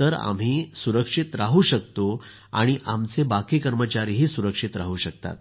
तर आम्ही सुरक्षित राहू शकतो आणि आमचे बाकी कर्मचारीही सुरक्षित राहू शकतात